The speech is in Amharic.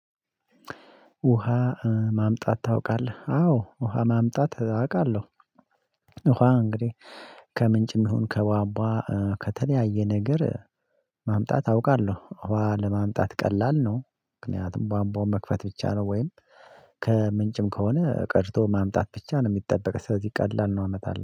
ውሃ ማምጣት ታውቃለህ አዎ ውሃ ማምጣት አቃለሁ። ውሃ እንግዲህ ከምንጭም ይሁን ከቧቧ ከተለያየ ነገር ማምጣት አውቃለሁ ውሃ ለማምጣት ቀላል ነው። ምክንያቱም ቧቧውን መክፈት ብቻ ነው ወይም ከምንጭም ከሆነ ቀርቶ ማምጣት ብቻ ነው። የሚጠበቅ ስለዚህ ቀላል ነው አመጣልሁ